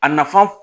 A nafan